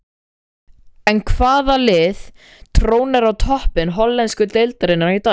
En hvaða lið trónir á toppi hollensku deildarinnar í dag?